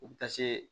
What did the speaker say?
U bɛ taa se